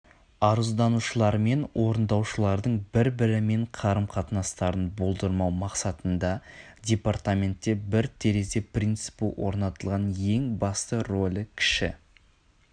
арызданушылармен орындаушылардың бір-бірімен қарым қатынастарын болдырмау мақсатында департаментте бір терезе принципі орнатылған ең басты ролі кіші